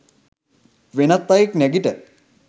වෙනත් අයෙක් නැගිට